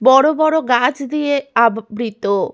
বড় বড় গাছ দিয়ে আবৃ-ত।